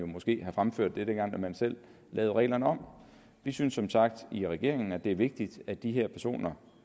måske have fremført det dengang man selv lavede reglerne om vi synes som sagt i regeringen at det er vigtigt at de her personer